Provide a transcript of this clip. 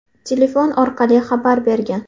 telefon orqali xabar bergan.